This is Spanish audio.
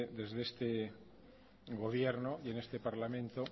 desde este gobierno y en este parlamento